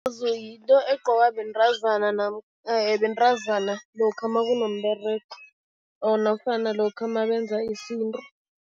Yinto egqokwa bentazana bentazana lokha makunomberego or nofana lokha nabenza isintu.